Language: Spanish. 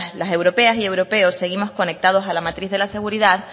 las europeas y los europeos seguimos conectados a la matriz de la seguridad